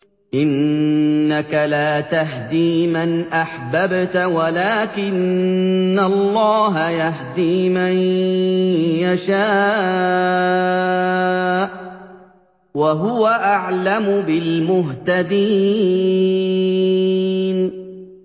إِنَّكَ لَا تَهْدِي مَنْ أَحْبَبْتَ وَلَٰكِنَّ اللَّهَ يَهْدِي مَن يَشَاءُ ۚ وَهُوَ أَعْلَمُ بِالْمُهْتَدِينَ